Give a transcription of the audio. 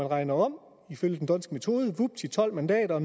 regnet om ifølge den dhondtske metode vupti tolv mandater og